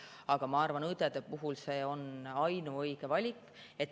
Aga ma arvan, et õdede puhul on see ainuõige valik.